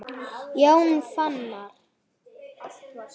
Jón Fannar.